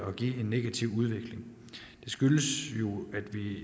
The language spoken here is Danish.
at give en negativ udvikling det skyldes